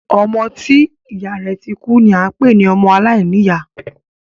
Ọmọ tí ìyá rẹ̀ ti kú ni a ń pé ní ọmọ aláìníyá.